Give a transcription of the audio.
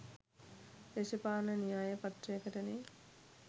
දේශපාලන න්‍යාය පත්‍රයකටනේ.